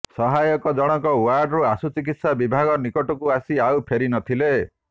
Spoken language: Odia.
ସହାୟକ ଜଣକ ୱାର୍ଡରୁ ଆଶୁଚିକିତ୍ସା ବିଭାଗ ନିକଟକୁ ଆସି ଆଉ ଫେରିନଥିଲେ